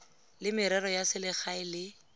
la merero ya selegae le